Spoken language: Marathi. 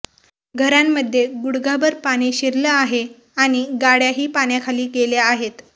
घरांमध्ये गुडघाभर पाणी शिरलं आहे आणि गाड्याही पाण्याखाली गेल्या आहेत